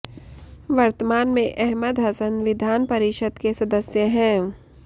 वर्तमान में अहमद हसन विधान परिषद के सदस्य हैं